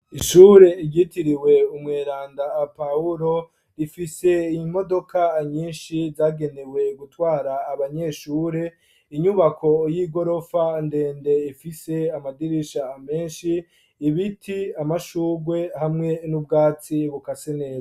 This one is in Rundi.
Ishure ryitiriwe umweranda Pawulo, rifise imodoka nyinshi zagenewe gutwara abanyeshure . Inyubako y'igorofa ndende ifise amadirisha menshi ibiti amashurwe hamwe n'ubwatsi bukase neza.